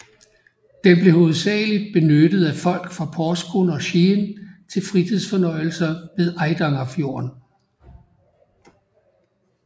Den blev hovedsageligt benyttet af folk fra Porsgrunn og Skien til fritidsfornøjelser ved Eidangerfjorden